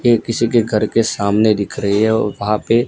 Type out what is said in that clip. ये किसी के घर के सामने दिख रही है औ वहां पे--